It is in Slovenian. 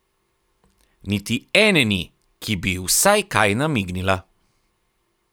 Niti ene ni, ki bi ji vsaj kaj namignila!